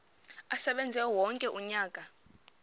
asebenze wonke umnyaka